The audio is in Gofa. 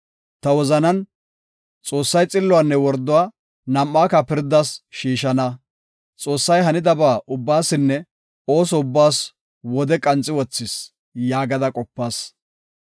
Ta wozanan, “Xoossay xilluwanne worduwa nam7aaka pirdas shiishana; Xoossay hanidaba ubbaasinne ooso ubbaas wode qanxi wothis” yaagada qopas.